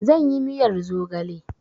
Zan yi miyar zogale